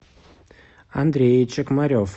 андрей чекмарев